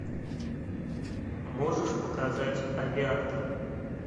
можешь показать авиатор